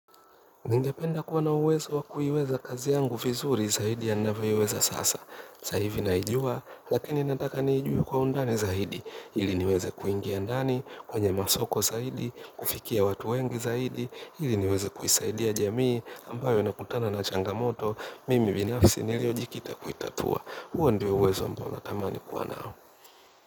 Ningependa kuwa na uwezo wa kuiweza kazi yangu vizuri zaidi ya ninavyoiweza sasa. Sa hivi naijua, lakini nataka niijue kwa undani zaidi. Ili niweze kuingia ndani, kwenye masoko zaidi, kufikia watu wengi zaidi. Ili niweze kuisaidia jamii ambayo inakutana na changamoto. Mimi binafsi niliojikita kuitatua. Huo ndio uwezo ambao natamani kuwa nao.